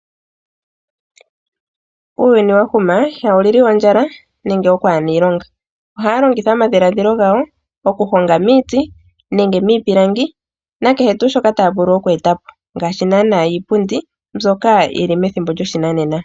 Uuyuni wa huma, ihawu lili ondjala nenge okwaana iilonga. Ohaa longitha omadhiladhilo gawo okuhonga miiti nenge miipilangi nakehe tuu shoka taa vulu oku eta po ngashi naana iipundi mbyoka yi li methimbo lyoshinanena.